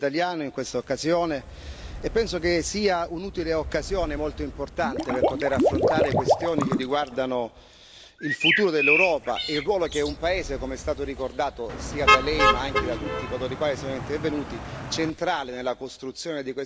Penso che sia un'utile occasione molto importante per poter affrontare questioni che riguardano il futuro dell'Europa e il ruolo che un paese che, come è stato ricordato sia da Lei ma anche da tutti coloro i quali sono intervenuti, è centrale nella costruzione di questa Europa e nella sua prospettiva.